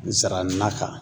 Nsara na kan